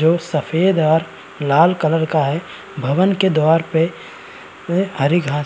जो सफ़ेद और लाल कलर का है। भवन के द्वार पे हरी घास--